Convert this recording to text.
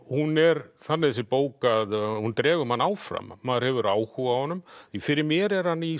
hún er þannig þessi bók að hún dregur mann áfram maður hefur áhuga á honum fyrir mér er hann í